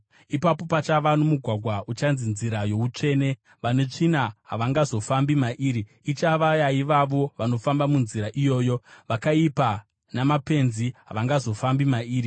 Ipapo pachava nomugwagwa; uchanzi Nzira yoUtsvene. Vane tsvina havangazofambi mairi; ichava yaivavo vanofamba muNzira iyoyo; vakaipa namapenzi havangazofambi mairi.